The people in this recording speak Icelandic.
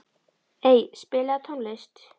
Ey, spilaðu tónlist.